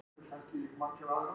Blóð blettar dýnurnar.